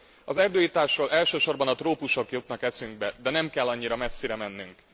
Az erdőirtásról elsősorban a trópusok jutnak eszünkbe, de nem kell annyira messzire mennünk.